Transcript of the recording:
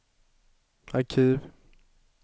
arkiv